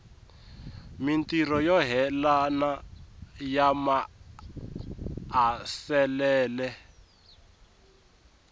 mintirho yo yelana ya maasesele